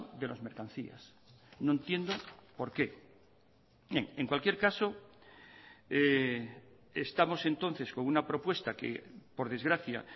de las mercancías no entiendo por qué en cualquier caso estamos entonces con una propuesta que por desgracia